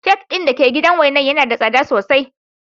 Kek din da ke gidan wainar yana da tsada sosai.